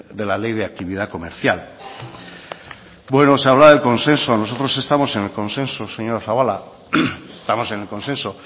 de la ley de actividad comercial bueno se hablaba del consenso nosotros estamos en el consenso señora zabala estamos en el consenso